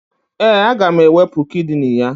Ee, aga m ewepu kidini ya